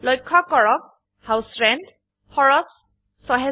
লক্ষ্য কৰক ঘৰ ভাড়াৰ হাউছ ৰেণ্ট খৰচ ৬০০০ টাকা